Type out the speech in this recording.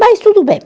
Mas tudo bem.